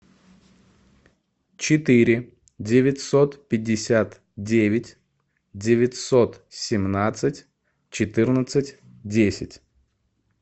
четыре девятьсот пятьдесят девять девятьсот семнадцать четырнадцать десять